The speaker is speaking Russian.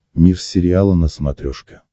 мир сериала на смотрешке